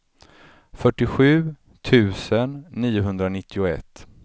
fyrtiosju tusen niohundranittioett